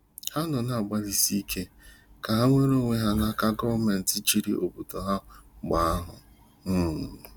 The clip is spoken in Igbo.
Ha nọ na-agbalịsị ike ka ha nwere onwe ha n’aka gọọmenti chịrị obodo ha mgbe ahụ um.